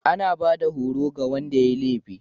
anabada horo ga Wanda yayi laifi